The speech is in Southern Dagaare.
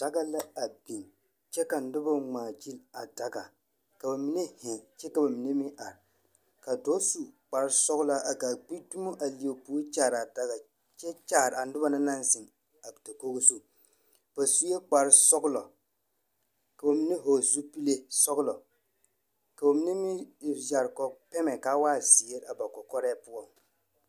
Daga la a biŋ, kyԑ ka noba a ŋmaa gyili a daga. Ka ba mine zeŋ kyԑ ka ba mine meŋ are. Ka dͻͻ su kpare-sͻgelaa a gaa o gbi dumo a leԑ o puori a kyaare daga, kyԑ kyaare a noba na naŋ zeŋ a dakogo zu. Ba sue kpare-sͻgelͻ, ka ba mine vͻgele zupile sͻgelͻ, ka ba mine meŋ yԑre kͻ pԑmԑ ka a waa zeere a ba kͻkͻrԑԑ poͻŋ.